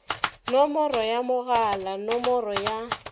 nomoro ya mogala nomoro ya